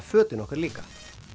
fötin okkar líka